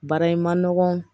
Baara in man nɔgɔn